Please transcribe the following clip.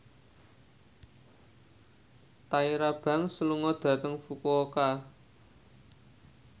Tyra Banks lunga dhateng Fukuoka